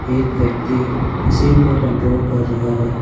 एक व्यक्ति मशीन को कंट्रोल कर रहा है।